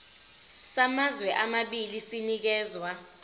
samazwe amabili sinikezwa